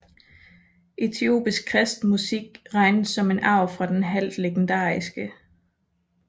Etiopisk kristen musik regnes som en arv fra den halvt legendariske St